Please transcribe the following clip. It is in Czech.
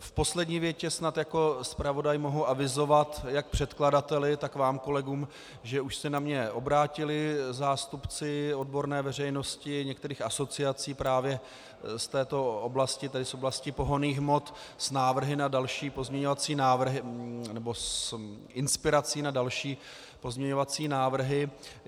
V poslední větě snad jako zpravodaj mohu avizovat jak předkladateli, tak vám kolegům, že už se na mě obrátili zástupci odborné veřejnosti některých asociací právě z této oblasti, tedy z oblasti pohonných hmot, s návrhy na další pozměňovací návrhy, nebo s inspirací na další pozměňovací návrhy.